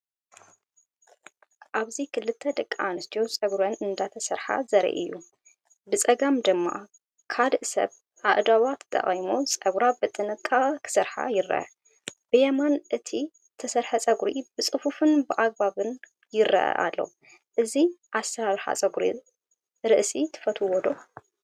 ኣብዚ ክልተ ደቂ ኣንሰትዩ ፀጉረን እንዳተሰርሓ ዘርኢ እዩ። ብጸጋም ድማ ካልእ ሰብ ኣእዳዋ ተጠቒሙ ጸጉራ ብጥንቃቐ ክትሰርሓ ይርአ። ብየማን እቲ ዝተሰርሐ ፀጉሪ ብጽፉፍን ብኣገባብ ይረአ ኣሎ። እዚ ኣሰራርሓ ጸጉሪ ርእሲ ትፈትውዎ ዶ?